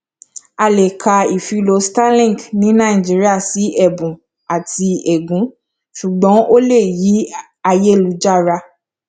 a lè ka ìfilọ starlink ní nàìjíríà sí ẹbùn àti ègún ṣùgbọn ó lè yí ayélujára